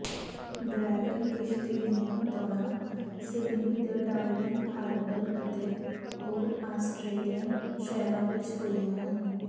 dragon ਕਿਸ਼ਤੀ ਦੀਆਂ ਦੌੜਾਂ ਸਿਡਨੀ ਦੇ ਡਾਰਲਿੰਗ ਹਾਰਬਰ ਅਤੇ ਹੋਰ ਆਸਟਰੇਲੀਅਨ ਸ਼ਹਿਰਾਂ ਵਿੱਚ ਹੋਈਆਂ ਹਨ